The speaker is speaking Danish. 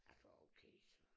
Altså okay så